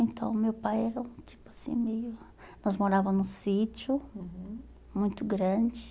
Então, meu pai era um tipo assim meio... Nós morávamos num sítio, uhum, muito grande.